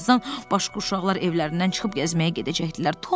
Bir azdan başqa uşaqlar evlərindən çıxıb gəzməyə gedəcəkdilər.